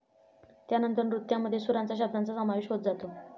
त्यानंतर नृत्यामध्ये सुरांचा, शब्दांचा समावेश होत जातो.